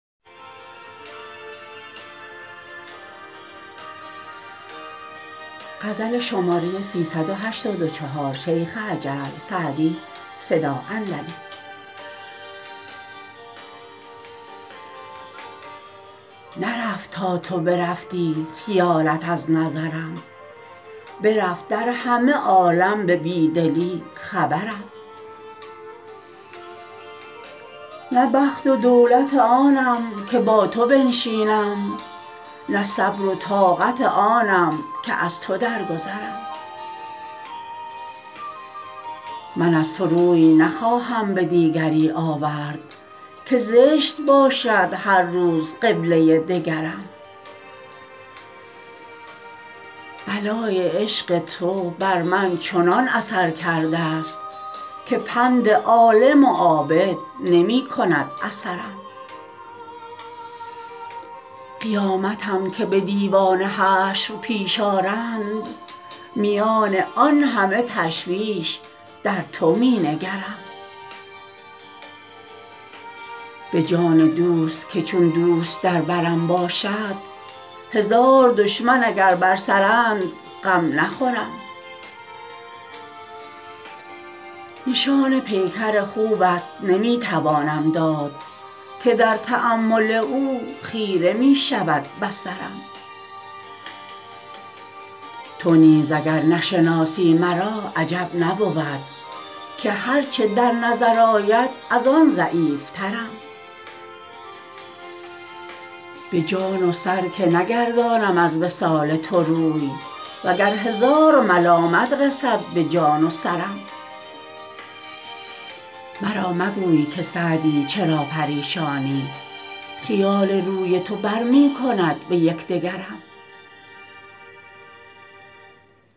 نرفت تا تو برفتی خیالت از نظرم برفت در همه عالم به بی دلی خبرم نه بخت و دولت آنم که با تو بنشینم نه صبر و طاقت آنم که از تو درگذرم من از تو روی نخواهم به دیگری آورد که زشت باشد هر روز قبله دگرم بلای عشق تو بر من چنان اثر کرده ست که پند عالم و عابد نمی کند اثرم قیامتم که به دیوان حشر پیش آرند میان آن همه تشویش در تو می نگرم به جان دوست که چون دوست در برم باشد هزار دشمن اگر بر سرند غم نخورم نشان پیکر خوبت نمی توانم داد که در تأمل او خیره می شود بصرم تو نیز اگر نشناسی مرا عجب نبود که هر چه در نظر آید از آن ضعیفترم به جان و سر که نگردانم از وصال تو روی و گر هزار ملامت رسد به جان و سرم مرا مگوی که سعدی چرا پریشانی خیال روی تو بر می کند به یک دگرم